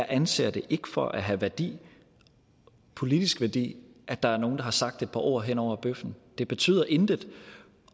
anser det for at have værdi politisk værdi at der er nogle der har sagt et par ord hen over bøffen det betyder intet